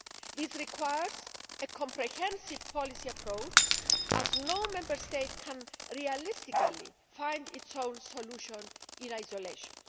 This requires a comprehensive policy approach, as no Member State can realistically find its own solution in isolation.